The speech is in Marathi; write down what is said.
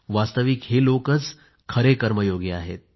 वास्तविक हे लोकच खरे कर्मयोगी आहेत